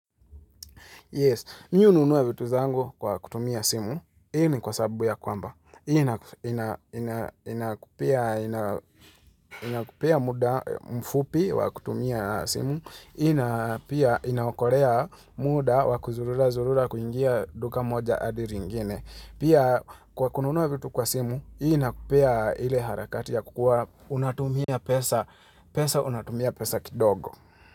Yes, mi ununua vitu zangu kwa kutumia simu, hii ni kwa sababu ya kwamba. Hii inakupia muda mfupi wakutumia simu, ina pia inakorea muda wakuzulula zurula kuingia duka moja adi ringine. Pia kwa kununuua vitu kwa simu, hii inakupia ile harakati ya kukua unatumia pesa, pesa unatumia pesa kidogo.